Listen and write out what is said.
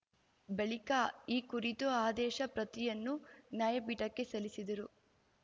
ಬಳಿಕ ಈ ಕುರಿತ ಆದೇಶ ಪ್ರತಿಯನ್ನು ನ್ಯಾಯಪೀಠಕ್ಕೆ ಸಲ್ಲಿಸಿದರು